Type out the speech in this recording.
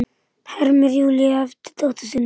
hermir Júlía eftir dóttur sinni.